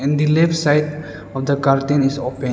in the left side of the curtain is open.